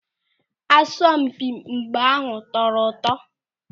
Asọmpi mgba ahụ tọrọ ụtọ.